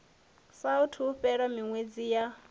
saathu u fhela miṅwedzi ya